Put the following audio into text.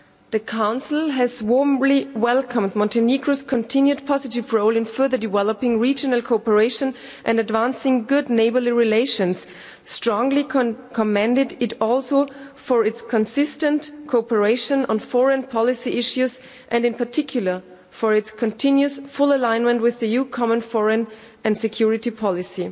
The Council has warmly welcomed Montenegro's continued positive role in further developing regional cooperation and advancing good neighbourly relations, strongly commended it also for its consistent cooperation on foreign policy issues and, in particular, for its continuous full alignment with the EU Common Foreign and Security Policy.